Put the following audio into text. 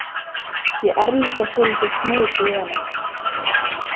Ég er líka svolítið smeyk við hana.